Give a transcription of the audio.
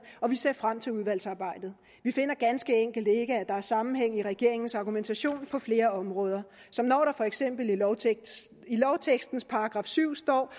og vi ser frem til udvalgsarbejdet vi finder ganske enkelt ikke at der er sammenhæng i regeringens argumentation på flere områder som når der for eksempel i lovtekstens i lovtekstens § syv står